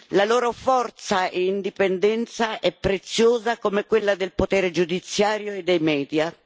La loro forza e indipendenza è preziosa come quella del potere giudiziario e dei media.